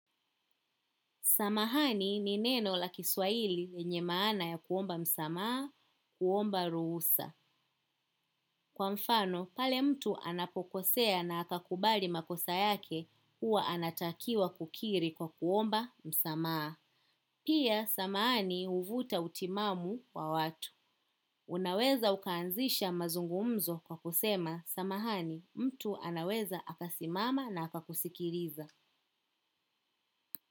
Samahani ni neno la kiswaili lenye maana ya kuomba msamaha, kuomba ruhusa. Kwa mfano, pale mtu anapokosea na akakubali makosa yake, huwa anatakiwa kukiri kwa kuomba msamaha. Pia, samahani uvuta utimamu wa watu. Unaweza kuanzisha mazungumzo kwa kusema samahani mtu anaweza akasima na akakusikiliza.